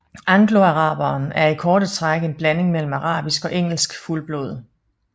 Angloaraberen er i korte træk en blanding mellem arabisk og engelsk fuldblod